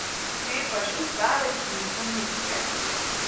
Te pa še zdaleč niso nizke.